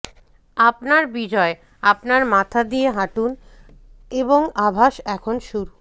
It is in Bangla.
আপনার বিজয় আপনার মাথা দিয়ে হাঁটুন এবং আভাস এখন শুরু